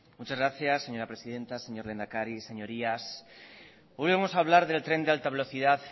muchas gracias señora presidenta señor lehendakari señorías hoy vamos a hablar del tren de alta velocidad